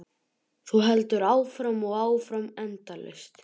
Stefán hristi höfuðið, grafalvarlegur sem fyrr.